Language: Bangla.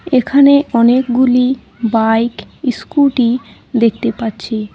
এখানে অনেকগুলি বাইক ইস্কুটি দেখতে পাচ্ছি।